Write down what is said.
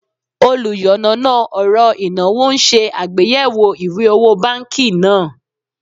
Oluyanana oro inawo n se agbeyewo iwe owo banki naa